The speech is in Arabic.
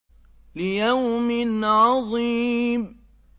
لِيَوْمٍ عَظِيمٍ